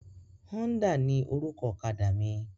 Honda ni orúkọ ọ̀kadà mi.